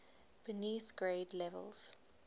beneath grade levels